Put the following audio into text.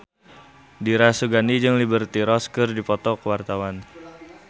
Dira Sugandi jeung Liberty Ross keur dipoto ku wartawan